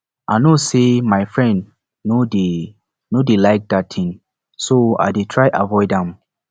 i no say my friend no dey no dey like dat thing so i dey try avoid am